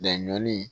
Laɲɔni